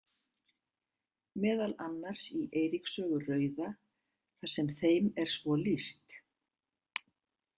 Meðal annars í Eiríks sögu rauða þar sem þeim er svo lýst.